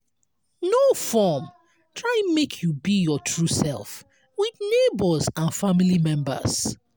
no form try make you be your true self with neigbours and family members